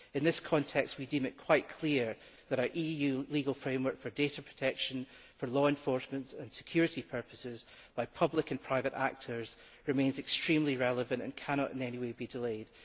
In this context, we deem it quite clear that an EU legal framework for data protection, law enforcement and security purposes by public and private actors remains extremely relevant and cannot in any way be delayed.